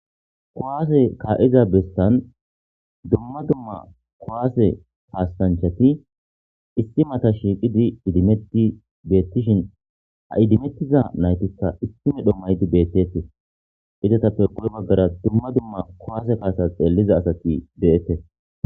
Kowaase kaa7iza bestan dumma dumma kowaase haastanchati issimata shiiqidi idimetti beettishin ha idimettiza naytita issi medho maydi beettete izata perqule baggara dumma dumma kowaase kaasa xeelliza asati de7ette